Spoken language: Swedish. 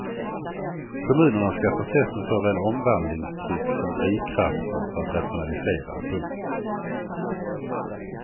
Kommunerna ska förses med såväl omvandlingstryck som drivkrafter för att rationalisera. punkt